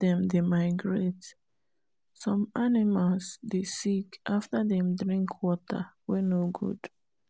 the waka waka across different place dey give animal gain weight as them dey eat fresh grass and local medicine